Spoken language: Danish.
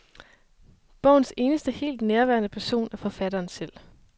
Bogens eneste helt nærværende person er forfatteren selv.